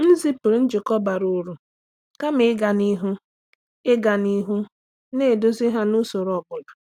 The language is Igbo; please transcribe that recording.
M zipụrụ njikọ bara uru kama ịga n’ihu ịga n’ihu na-eduzi ha n’usoro ọ bụla.